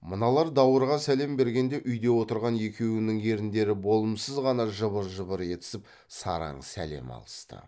мыналар даурыға сәлем бергенде үйде отырған екеуінің еріндері болымсыз ғана жыбыр жыбыр етісіп сараң сәлем алысты